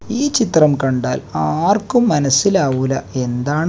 ഈ ചിത്രം കണ്ടാൽ ആർക്കും മനസ്സിലാവൂല്ല എന്താണ്--